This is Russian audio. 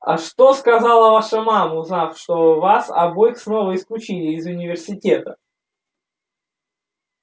а что сказала ваша мама узнав что вас обоих снова исключили из университета